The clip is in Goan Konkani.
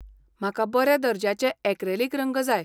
म्हाका बऱ्या दर्ज्याचे ऍक्रॅलिक रंग जाय.